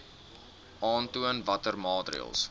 aantoon watter maatreëls